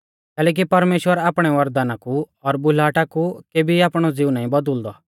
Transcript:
कैलैकि परमेश्‍वर आपणै वरदाना कु और बुलाहटा कु केभी आपणौ ज़िऊ नाईं बौदलिंदौ